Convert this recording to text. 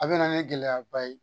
A bɛ na ni gɛlɛyaba ye.